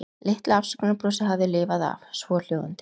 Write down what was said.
Litla afsökunarbrosið hafði lifað af, svohljóðandi